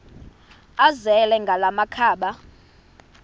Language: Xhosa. azele ngala makhaba